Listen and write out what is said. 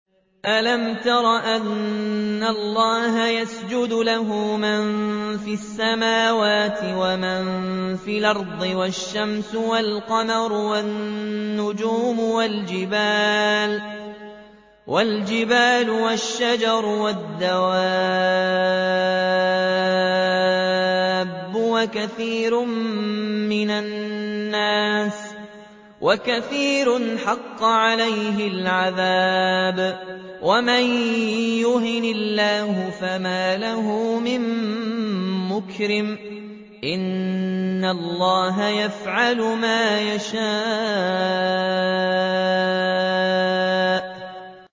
أَلَمْ تَرَ أَنَّ اللَّهَ يَسْجُدُ لَهُ مَن فِي السَّمَاوَاتِ وَمَن فِي الْأَرْضِ وَالشَّمْسُ وَالْقَمَرُ وَالنُّجُومُ وَالْجِبَالُ وَالشَّجَرُ وَالدَّوَابُّ وَكَثِيرٌ مِّنَ النَّاسِ ۖ وَكَثِيرٌ حَقَّ عَلَيْهِ الْعَذَابُ ۗ وَمَن يُهِنِ اللَّهُ فَمَا لَهُ مِن مُّكْرِمٍ ۚ إِنَّ اللَّهَ يَفْعَلُ مَا يَشَاءُ ۩